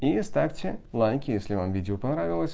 и ставьте лайки если вам видео понравилось